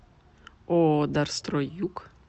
ооо дарстрой юг